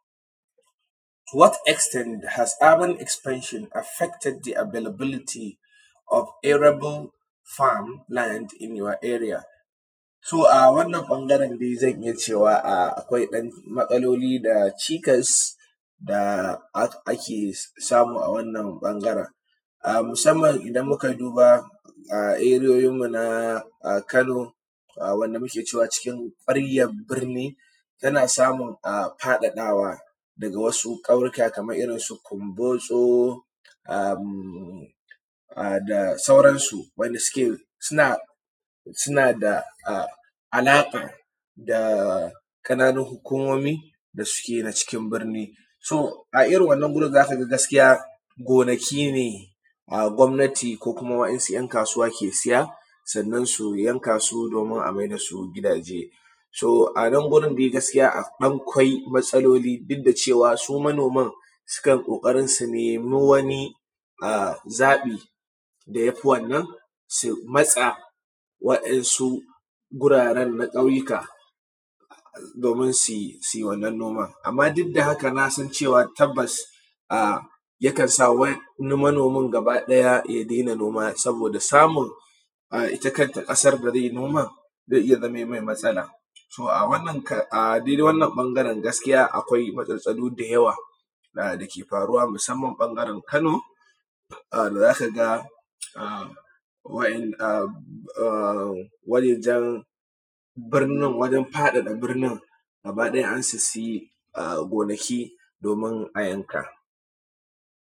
What extend is haven expansion affected the availability of arable farm and in your area? To, a wannan ɓangaren dai zan iya cewa akwai ‘yanmatsaloli da cikas da ake samu a wannan ɓangaren musanman idan muka duba ariyoyinmu na Kano wanda muke cewa cikin kwaryan birni yana samun faɗaɗawa daga wasu ƙauyuka kaman irinsu Kunbotso da suaransu suna da alaƙa da ƙananun hukumomi da suke a cikin birni. To, a irin wannan wurin za ka ga gaskiya gonaki ne gwamanati ko wayansu ‘yankasuwa ke siya, sannan su yanka su, sannan amaida su gidaje so sannan wurin dai gaskiya akwai matsaloli koda cewa su manoman suka na ƙoƙarin su nema wani zaɓi da ya fi wannan su matsa, wayansu wuraren na ƙauyuka domin su wannan noman. Amma duk da haka nasan cewa tabbas yakan sa wani manomin gabaɗaya ya dena noma saboda samun ita kanta ƙasan da zai noman zai iya zama me matsala to adaidai wannan ɓangaren akwai matsatstsalo da yawa dake faruwa musanman ɓangaren Kano da za ka ga wayannan wajajen faɗaɗa birnin gabaɗaya an sissiye gonaki domin a yanka.